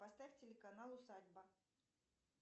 поставь телеканал усадьба